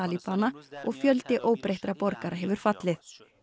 talibana og fjöldi óbreyttra borgara hefur fallið